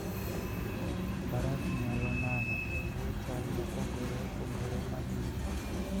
Faras nyalo nano e bwo chal mopogore opogore mag liet.